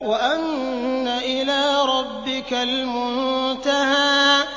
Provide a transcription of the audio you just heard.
وَأَنَّ إِلَىٰ رَبِّكَ الْمُنتَهَىٰ